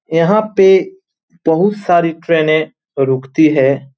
यहां पे बहुत सारी ट्रेने रुकती हैं।